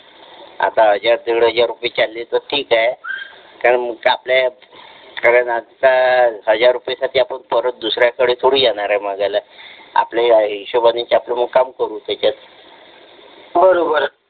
आता हजार दीड हजार रुपये चालले तर ठीक आहे काय मग आपल्या कारण आता हजार रुपयासाठी आपण परत दुसऱ्याकडे थोडी जाणार आहे मागायला आपल्या हिशोबाने च मग आपला काम करू मग त्याच्यात